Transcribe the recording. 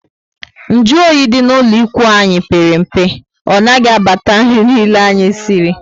Nju oyi dị ná ụlọ ikwụ anyị pere mpe. Ọ naghị abata nri niile anyị siri